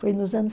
Foi nos anos